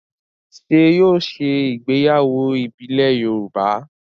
Ṣé yóò ṣe ìgbéyàwó ìbílẹ̀ Yorùbá?